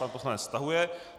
Pan poslanec stahuje.